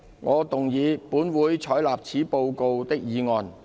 我動議"本會採納此報告"的議案。